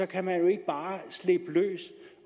kan man jo ikke bare slippe løs